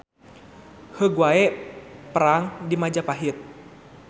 Heug wae perang di Majapahit.